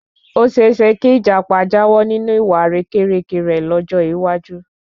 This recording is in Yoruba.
Oseese ki Ìjàpá jáwọ́ ninu ìwà àrékérekè rẹ lọ́jọ́ iwájú